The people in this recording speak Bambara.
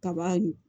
Kaba ɲugu